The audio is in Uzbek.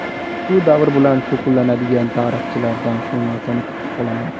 Shu davr bilan shug‘ullanadigan tarixchilardan shu narsani kutib qolaman.